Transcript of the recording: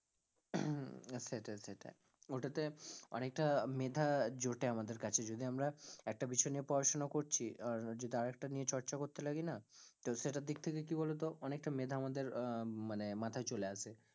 হম সেটাই সেটাই, ওটাতে অনেকটা মেধা জোটে আমাদের কাছে যদি আমরা একটা বিষয় নিয়ে পড়াশোনা করছি, আর যদি আরেকটা নিয়ে চর্চা করতে গালিনা, তো সেটার দিক থেকে কি বলো তো অনেকটা মেধা আমাদের আহ মানে মাথায় চলে আসে,